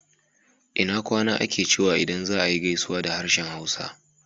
Ina kwana ake cewa idan za ayi gaisuwa da harshen Hausa